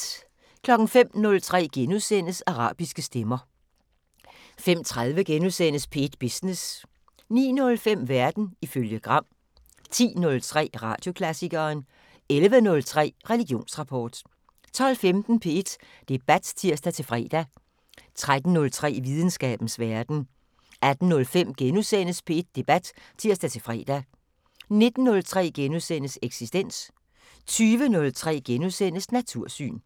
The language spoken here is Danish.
05:03: Arabiske stemmer * 05:30: P1 Business * 09:05: Verden ifølge Gram 10:03: Radioklassikeren 11:03: Religionsrapport 12:15: P1 Debat (tir-fre) 13:03: Videnskabens Verden 18:05: P1 Debat *(tir-fre) 19:03: Eksistens * 20:03: Natursyn *